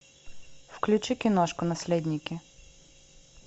включи киношку наследники